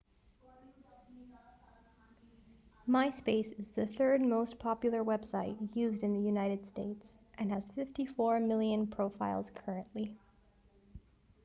myspace is the third most popular website used in the united states and has 54 million profiles currently